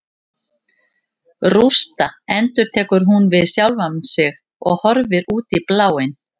Rústa, endurtekur hún við sjálfa sig og horfir út í bláinn.